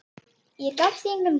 Gaf því engan gaum.